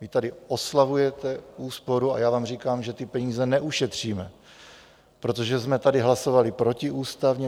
Vy tady oslavujete úsporu a já vám říkám, že ty peníze neušetříme, protože jsme tady hlasovali protiústavně.